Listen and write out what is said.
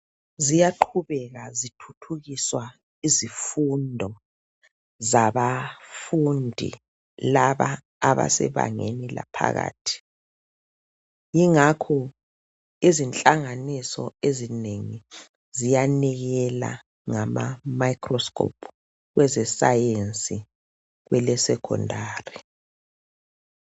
ziyaqhubeka zithuthukiswa izifundo zabafundi laba abasebangeni laphakathi ingakho izinhlanganiso ziyanikela ngama microscope kweze science kwele secondary